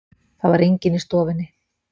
Það var enginn í stofunni.